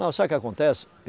Não, sabe o que acontece?